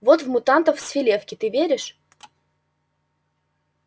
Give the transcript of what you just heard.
вот в мутантов с филевки ты веришь